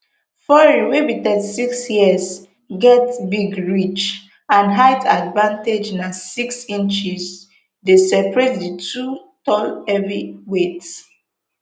fury wey be thirty-six years get big reach and height advantage na six inches dey separate di two tall heavyweights